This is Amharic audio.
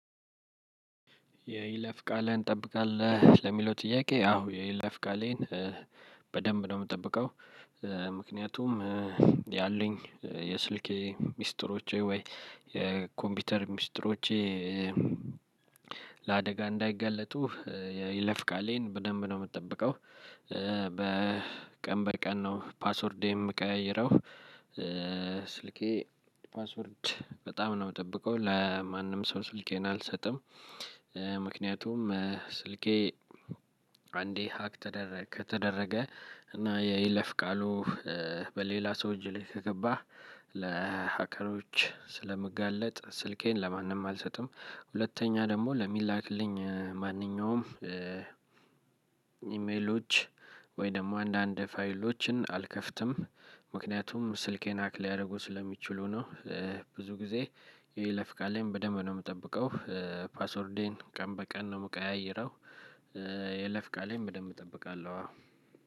የይለፍ ቃልህን ትጠብቃለህ ለሚለው ጥያቄ? አዎ የይለፍ ቃሌን በደንብ ነው የምጠብቀው። ምክንያቱም ያለኝ የስልኬ ሚስጥሮቼ ወይ የኮምፒውተር ሚስጥሮቼ። ለአደጋ እንዳይገለጡ ይለፍቃሌን በደንብ ነው የምትጠብቀው። በቀን በቀን ነው ፓስወርዴን የምቀያይረው። ስልኬ ፓስወርድ በጣም ነው የምጠብቀው ለማንም ሰው ስልኬን አልሰጥም። ምክንያቱም ስልኬ አንዴ ሀክ ተደረገ ከተደረገ እና የይለፍ ቃሉ በሌላ ሰው እጅ ላይ ከገባ ለሀከሮች ስለምጋለጥ። ስልኬን ለማንም አልሰጥም። ሁለተኛ ደግሞ ለሚላክልኝ ማንኛውም ኢሜሎች ወይ ደግሞ አንዳንድ ፋይሎችን አልከፍትም። ምክንያቱም ስልኬን ሀክ ሊያደርጉ ስለሚችሉ ነው። ብዙ ጊዜ የይለፍ ቃሌን በደንብ ነው የምጠብቀው። ፓስወርዴን ቀን በቀን ነው የምቀያይረው። የይለፍ ቃሌን በደንብ እጠብቃለሁ አዎ።